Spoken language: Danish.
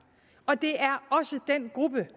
og det er også den gruppe